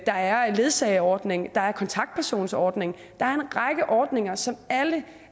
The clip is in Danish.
der er en ledsageordning der er en kontaktpersonsordning der er en række ordninger som alle